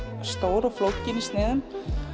stór og flókin í sniðum